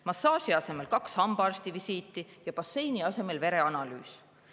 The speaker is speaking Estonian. Massaaži asemel on kaks hambaarstivisiiti ja basseini asemel vereanalüüs.